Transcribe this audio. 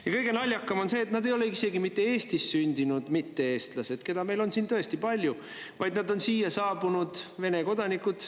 Ja kõige naljakam on see, et nad ei ole isegi mitte Eestis sündinud mitte-eestlased, keda meil on siin tõesti palju, vaid nad on siia saabunud Vene kodanikud.